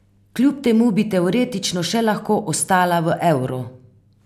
Kljub temu bi teoretično še lahko ostala v evru.